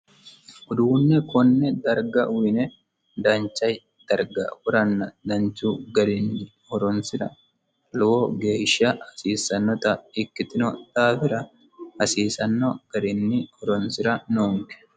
uduunne konne darga uyine dancha darga woranna danchu garinni horonsira lowo geeshsha hasiissannota ikkitino daafira hasiisanno garinni horonsira noonke